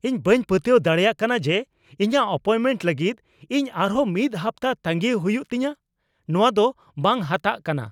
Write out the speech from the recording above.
ᱤᱧ ᱵᱟᱹᱧ ᱯᱟᱹᱛᱭᱟᱹᱣ ᱫᱟᱲᱮᱭᱟᱜ ᱠᱟᱱᱟ ᱡᱮ ᱤᱧᱟᱜ ᱮᱯᱚᱭᱮᱱᱴᱢᱮᱱᱴ ᱞᱟᱹᱜᱤᱫ ᱤᱧ ᱟᱨᱦᱚᱸ ᱢᱤᱫ ᱦᱟᱯᱛᱟ ᱛᱟᱸᱜᱤᱭ ᱦᱩᱭᱩᱜ ᱛᱤᱧᱟ ᱾ ᱱᱚᱣᱟ ᱫᱚ ᱵᱟᱝ ᱦᱟᱛᱟᱜ ᱠᱟᱱᱟ ᱾